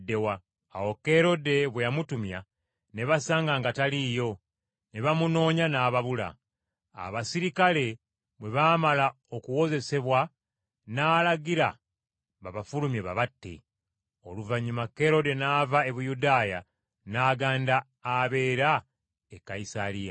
Awo Kerode bwe yamutumya ne basanga nga taliiyo, ne bamunoonya n’ababula. Abaserikale bwe baamala okuwozesebwa n’alagira babafulumye babatte. Okufa kwa Kerode Oluvannyuma Kerode n’ava e Buyudaaya n’agenda abeera e Kayisaliya.